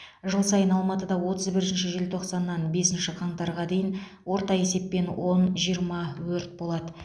жыл сайын алматыда отыз бірінші желтоқсаннан бесінші қаңтарға дейін орта есеппен он жиырма өрт болады